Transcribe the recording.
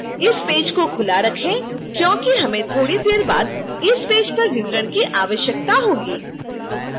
इस पेज को खुला रखें क्योंकि हमें थोड़ी देर बाद इस पेज पर विवरण की आवश्यकता होगी